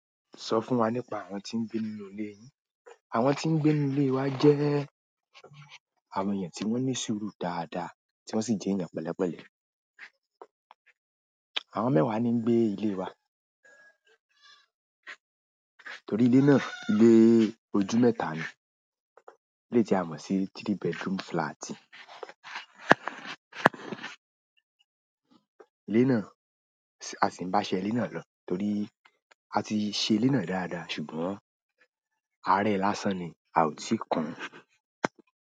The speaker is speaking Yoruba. Sọ fún wa nípa àwọn tí ń gbé nínú ilé yín. Àwọn tí ń gbé ní ilé wa jẹ́ àwọn èèyàn tí wọ́n ní sùúrù dáadáa tí wọ́n sì jẹ́ èèyàn pẹ̀lẹ́pẹ̀lẹ́. Àwọn mẹ́wàá ni ń gbé ilé wa torí ilé náà, ilé ojú mẹ́ta ni, eleyii tí a mọ̀ sí three bedroom flat. Ilé náà, a sì ń bá ṣe ilé náà lọ torí a ti ṣe ilé náà dáadáa ṣùgbọ́n a rẹ̀e lásán ni, a ò tí ì kun.